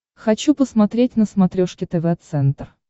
хочу посмотреть на смотрешке тв центр